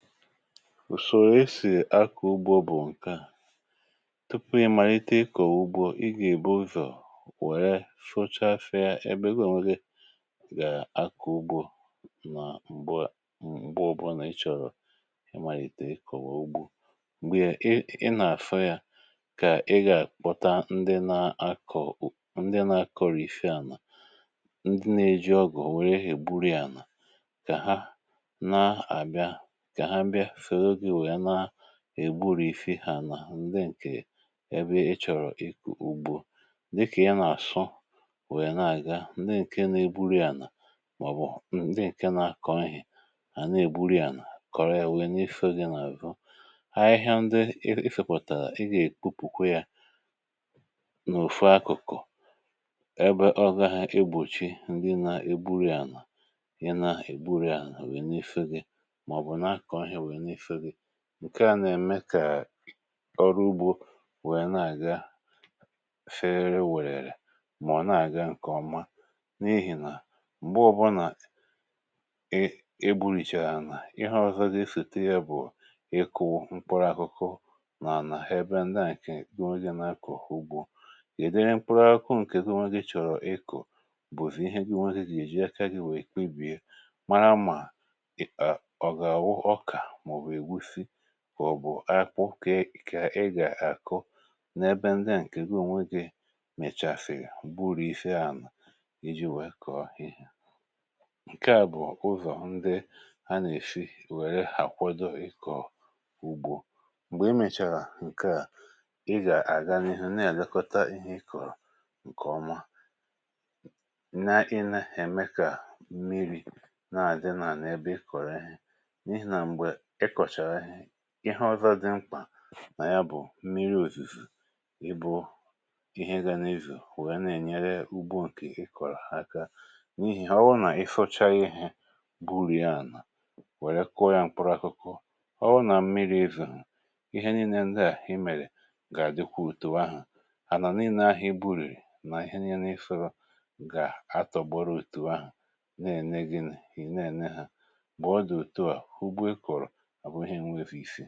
ùsòrò esì akụ̀ ugbò bụ̀ ǹkè à, tupu ị màlite ịkọ̀ ugbò, ị gà-èbo ụzọ̀ wèrè fochafè ebe gbàńwere gà-akụ ugbò. nà m̀gbè ǹkè ọbụ̀rụ̀ nà ịchọ̀rọ̀ ị màlite ịkọ̀wa ugbò, m̀gbè ị nà-àfè ya, kà ị gà-àkpọta ndị nà-akọ̀, ndị nà-akọ̀rìfị ànà, ndị nà-èjì ọgụ̀, nwèrè ihe gbùrù ya, nà èbùrụ̀ ifè ha. nà ndị ǹkè ebe ịchọ̀rọ̀ ịkụ̀ ugbò, ndị kà ya nà-àsụ̀ wèe na-àga. ndị ǹkè na-ebùrù ya nà, màọ̀bụ̀ ndị ǹkè na-akọ̇ ihe hà na-ègbùrù ya nà kọ̀rọ̀, èwè n’ifè gị nà-àrụ̀ ha. ahịhịa ndị èfefọ̀ tàrà, ị gà-èkupùkwe yȧ n’òfù akụ̀kụ̀ ebe ọ gà-àgbòchì ndị nà-ebùrù ya nà ihe na-ègbùrù ya nà o n’ifè gị. ǹkè a nà-ème kà ọrụ ugbò nwèrè na-àga ferè wèrè, um mà ọ̀ na-àga ǹkè ọma, n’ihì nà m̀gbè ọbụnà e bùrìchàrà nà ihe ọ̀zọ̀ gị sète ya bụ̀ ịkụ̇ mkpọrakụkụ nà-ànà ha. ebe ndià ǹkè diwànyè nà-akụ̀ ugbò gị̀, dịrị mkpọrakụkụ ǹkè diwànyè gị̀, chọ̀rọ̀ ịkụ̀, bụ̀fù ihe diwànyè gị̀ èjì aka gị̀, nwèrè, èkpebìe kà ọ bụ̀ akwụkwọ kà ị gà-àkụ̀. n’ebe ndi à ǹkè ǹwèrè, mèchàfèrịa, bụrụ̀ ifè ahụ̀ iji wèe kọ̀ọ̀ ihe. ǹkè à bụ̀ ụzọ̀ ndị a nà-èfì wèrè àkwàdò ikọ̀ ugbò. m̀gbè i mèchàrà ǹkè à, ị gà-àga n’ihu, na-àgakọta ihe ị kọ̀rọ̀ ǹkè ọma, na-inè èmekà mmiri̇ nà-àdị nà n’ebe ị kọ̀rọ̀. ehi, ihe ọzọ̀ dị mkpà nà ya, bụ̀ mmiri̇ òzìzù, ịbụ̇ ihe gà n’izù nwèe na-ènyere ugbò ǹkè ị kọ̀rọ̀ aka. n’ihì ọwụ̀, nà ị fụ̀chà ihe bùrì ànà, wèrè kụọ yȧ mkpọrakụkụ. ọwụ̀ nà mmiri̇ òzìzù, ihe niile ndị à hìmèrè, gà-àdịkwa òtù ahù hà nọ̀, nìinè ahụ̀ i burèrè nà ihe niile ị fụ̇, gà-àtògbòrò òtù ahù, na-ène gịnị̇, ì na-ène hȧ. bụ̀ ọ dị, òtù à hụ́gbe i kọ̀rọ̀, abụghị e nwè.